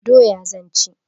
Doya zan ci.